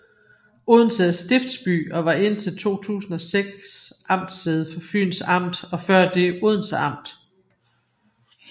Odense er stiftsby og var indtil 2006 amtssæde for Fyns Amt og før det Odense Amt